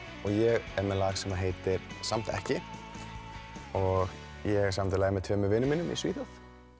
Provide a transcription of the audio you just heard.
og ég er með lag sem heitir samt ekki ég samdi lagið með tveimur vinum mínum í Svíþjóð